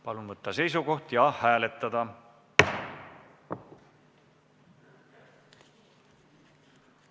Palun võtta seisukoht ja hääletada!